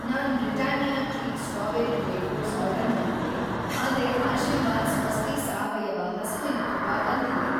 ನಾನ್‌ Britannia treat strawberry wafers order ಮಾಡಿದ್ದೆ, ಆದ್ರೆ ಆಶೀರ್ವಾದ್‌ ಸ್ವಸ್ತಿ ಸಾವಯವ ಹಸುವಿನ ತುಪ್ಪ ಬಂದಿದೆ.